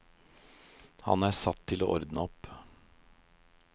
Han er satt til å ordne opp.